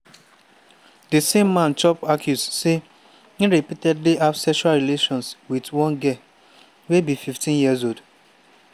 di same man chop accuse say e repeatedly have sexual relations wit one girl wey be 15 years old